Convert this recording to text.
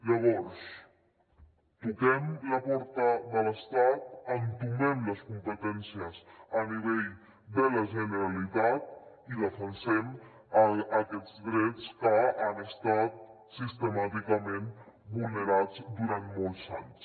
llavors toquem la porta de l’estat entomem les competències a nivell de la generalitat i defensem aquests drets que han estat sistemàticament vulnerats durant molts anys